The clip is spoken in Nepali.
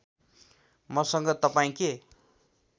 मसँग तपाईँ के